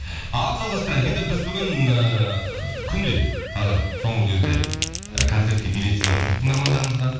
ал жалғастырайық енді біз бүгін ыыы күнде қазір соңғы кезде і концертке билет сыйлап жүрміз тыңдармандарымызға